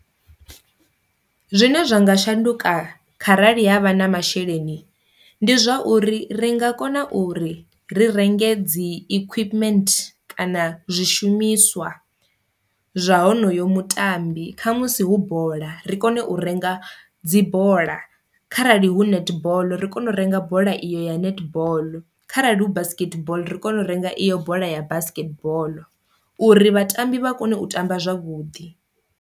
Zwine zwa nga shanduka kha rali havha na masheleni ndi zwa uri ri nga kona uri ri renge dzi equipment kana zwishumiswa zwa honoyo mutambi, kha musi hu bola ri kone u renga dzi bola, kharali hu netball ri kone u renga bola iyo ya netball, kharali hu basketball ri kone u renga iyo bola ya basketball uri vhatambi vha kone u tamba zwavhuḓi.